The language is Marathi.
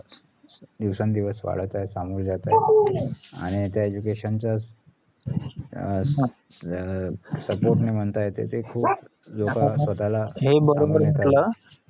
दिवसानुदिवस वाढत आहे सामोरे जात आहे आणि त्या education च अं अं support ने म्हणता येत ते खूप